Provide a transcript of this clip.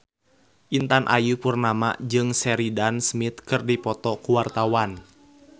Intan Ayu Purnama jeung Sheridan Smith keur dipoto ku wartawan